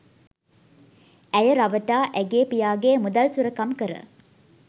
ඇය රවටා ඇගේ පියාගේ මුදල් සොරකම් කර